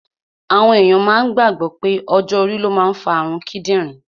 Àwọn èyàn máa gbàgbọ̀ pé ọjọ́ orí ló máa ń fa àrun kídìrín